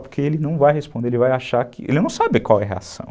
Porque ele não vai responder, ele vai achar que... Ele não sabe qual é a reação.